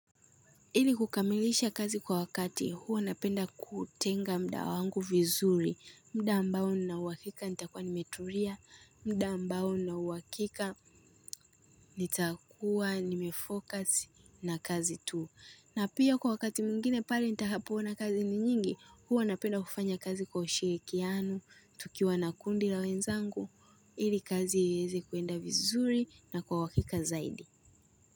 Ili kukamilisha kazi kwa wakati huwa napenda kutenga muda wangu vizuri muda ambao nina uhakika nitakuwa nimetulia muda ambao nina uhakika nitakuwa nimefocus na kazi tu na pia kwa wakati mwingine pale nitakapoona kazi ni nyingi huwa napenda kufanya kazi kwa ushirikiano tukiwa na kundi la wenzangu ili kazi ieze kuenda vizuri na kwa uhakika zaidi.